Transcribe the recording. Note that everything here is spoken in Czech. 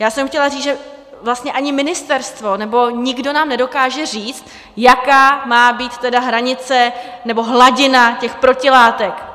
Já jsem chtěla říct, že vlastně ani ministerstvo, nebo někdo, nám nedokáže říct, jaká má být tedy hranice nebo hladina těch protilátek.